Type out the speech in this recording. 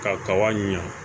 Ka kaba ɲa